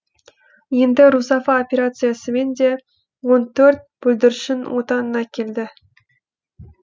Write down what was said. енді русафа операциясымен де он төрт бүлдіршін отанына келді